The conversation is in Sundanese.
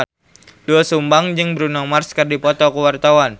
Doel Sumbang jeung Bruno Mars keur dipoto ku wartawan